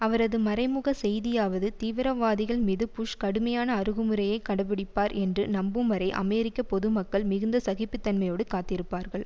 அவரது மறைமுக செய்தியாவது தீவிரவாதிகள் மீது புஷ் கடுமையான அருகுமுறையை கடைப்பிடிப்பார் என்று நம்பும்வரை அமெரிக்க பொதுமக்கள் மிகுந்த சகிப்புத்தன்மையோடு காத்திருப்பார்கள்